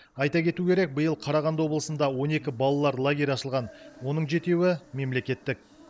айта кету керек биыл қарағанды облысында он екі балалар лагері ашылған оның жетеуі мемлекеттік